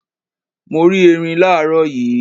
Mo rí ẹrin làárọ̀ yii.